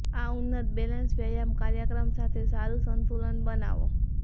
આ ઉન્નત બેલેન્સ વ્યાયામ કાર્યક્રમ સાથે સારું સંતુલન બનાવો